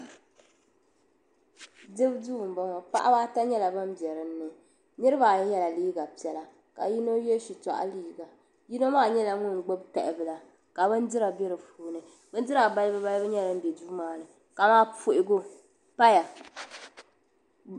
Dibu duu m-bɔŋɔ paɣiba ata nyɛla ban be dini niriba ayi yela liiga piɛla ka yino ye shitɔɣu liiga yino maa nyɛla ŋun gbubi tahibila ka bindira be di puuni bindira balibu balibu nyɛla din be duu maa ni kamani puhigu paya.